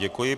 Děkuji.